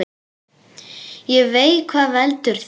Ég veit hvað veldur því.